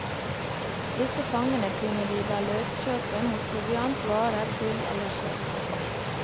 Disse fangene kunne de la løskjøpe mot proviant, varer, gull eller sølv.